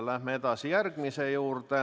Läheme edasi järgmise küsimuse juurde.